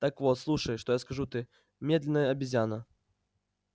так вот слушай что я скажу ты медная обезьяна